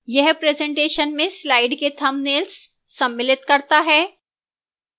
यह presentation में slides के thumbnails सम्मिलित करता है